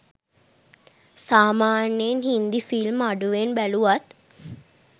සාමාන්‍යයෙන් හින්දි ෆිල්ම් අඩුවෙන් බැලුවත්